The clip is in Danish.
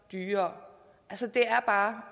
dyrere altså det er bare